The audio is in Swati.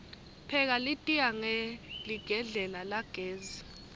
pheka litiya hqeligedlela lagesi